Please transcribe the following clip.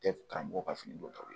Tɛ karamɔgɔ ka fini don